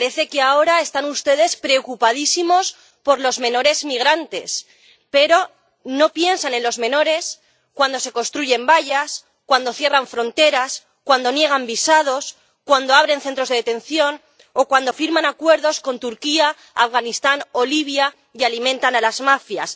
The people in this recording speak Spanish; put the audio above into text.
Parece que ahora están ustedes preocupadísimos por los menores migrantes, pero no piensan en los menores cuando se construyen vallas, cuando cierran fronteras, cuando niegan visados, cuando abren centros de detención o cuando firman acuerdos con Turquía, Afganistán o Libia y alimentan a las mafias.